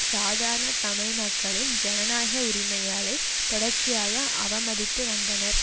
சாதாரண தமிழ் மக்களின் ஜனநாயக உரிமைகளை தொடர்ச்சியாக அவமதித்து வந்தனர்